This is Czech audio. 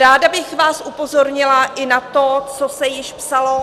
Ráda bych vás upozornila i na to, co se již psalo -